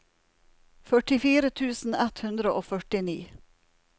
førtifire tusen ett hundre og førtini